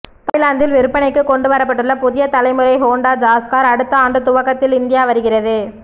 தாய்லாந்தில் விற்பனைக்கு கொண்டு வரப்பட்டுள்ள புதிய தலைமுறை ஹோண்டா ஜாஸ் கார் அடுத்த ஆண்டு துவக்கத்தில் இந்தியா வருகிறது